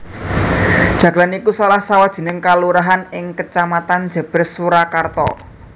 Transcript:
Jagalan iku salah sawijining kalurahan ing Kecamatan Jèbrès Surakarta